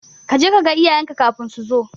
Jeka kaga iyayenka kafin so zo.